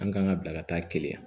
An kan ka bila ka taa keleya yan